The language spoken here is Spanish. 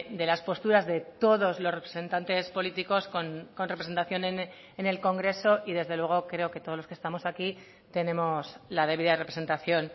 de las posturas de todos los representantes políticos con representación en el congreso y desde luego creo que todos los que estamos aquí tenemos la debida representación